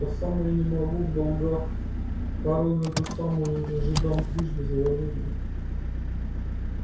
по самое не могу в долгах корону эту самую уже жидам трижды заложили